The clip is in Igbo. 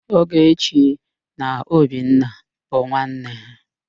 Ogechi na Obinna bụ nwanne.